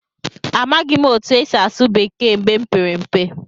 Amaghị m otú e si asụ Bekee mgbe m pere mpe.